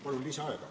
Palun lisaaega!